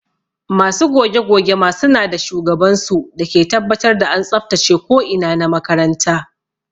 Masu goge goge ma suna da shugaban su dake tabbatar da an tsabtace ko ina na makaranta.